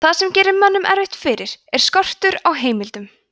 það sem gerir mönnum erfitt fyrir er skortur á heimildum